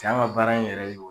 Tɛ an ka baara in yɛrɛ ye o ye.